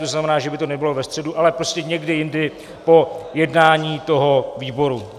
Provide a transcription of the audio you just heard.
To znamená, že by to nebylo ve středu, ale prostě někdy jindy po jednání toho výboru.